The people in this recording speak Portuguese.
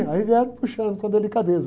Aí, vieram puxando com delicadeza.